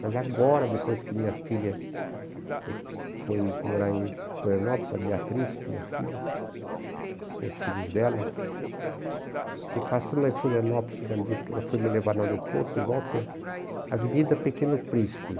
Mas agora, depois que minha filha foi foi morar em Florianópolis, a Beatriz, minha filha, com os filhos dela, eu passando lá em Florianópolis, ela foi me levar no aeroporto, e Avenida Pequeno Príncipe.